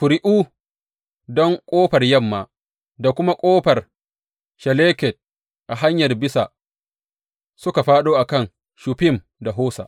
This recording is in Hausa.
Ƙuri’u don Ƙofar Yamma da kuma Ƙofar Shalleket a hanyar bisa suka fāɗo a kan Shuffim da Hosa.